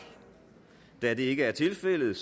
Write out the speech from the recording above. da det ikke er tilfældet